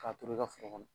K'a turu i ka foro kɔnɔ